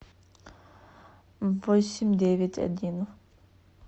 восемь девять один